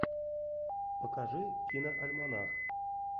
покажи киноальманах